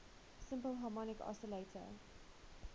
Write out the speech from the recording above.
simple harmonic oscillator